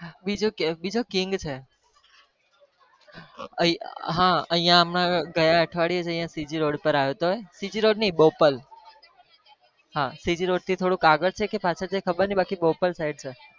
બીજો બીજો king છે હા અહિયાં અમારે ગયા અઠવાડિયે જ અહિયાં CG road પર આવ્યો હતો CG road નહી બોપલ હા CG road થી થોડુક આગળ છે, કે પાછળ છે ખબર નહિ બાકી બોપલ side છે.